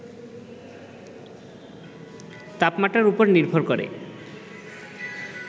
তাপমাত্রার উপর নির্ভর করে